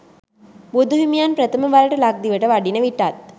බුදු හිමියන් ප්‍රථම වරට ලක්දිවට වඩින විටත්